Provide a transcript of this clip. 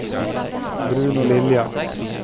Bruno Lilja